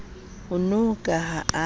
ano ka ha a ne